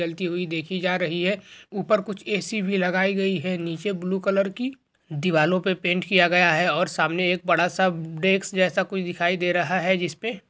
ज़्वलती हुई देखी जा रही है ऊपर कुछ ऐ.सी. भी लगाई गई है नीचे ब्लू कलर की दीवालो पे पेंट किया गया है और सामने एक बड़ा सा उब डेस्क जैसा कुछ दिखाई दे रहा हे जिसपे--